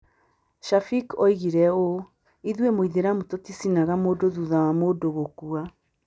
Shafeek oigire ũũ: "Ithuĩ Mũithĩramu tũtiacinaga mũndũ thutha wa mũndũ gũkua.